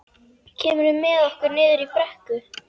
Kemurðu með okkur niður í brekku?